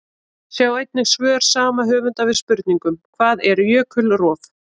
Sjá einnig svör sama höfundar við spurningunum: Hvað er jökulrof?